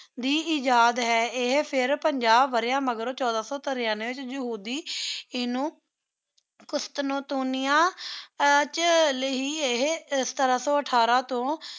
ਦੇ ਇਜਾਦ ਹੈ ਏਹੀ ਫਿਰ ਪੰਜਾ ਵਾਰੀਆਂ ਮਾਘ੍ਰੋ ਛੋਡਾ ਸੋ ਤਾਰਾਂਵ੍ਯ ਵਿਚ ਯਹੂਦੀ ਨੂ ਕ਼ੁਸ੍ਤੁਨ੍ਤੁਨਿਆ ਵਿਚ ਸਿਤਾਰਾ ਸੋ ਅਥਾਰ ਵਿਚੋ